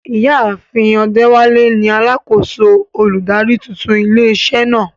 Ìyá àfin Odewale ni alákòóso olùdarí tuntun ilé iṣẹ́ náà.